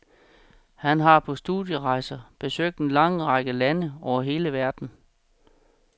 Han har på studierejser besøgt en lang række lande over hele verden.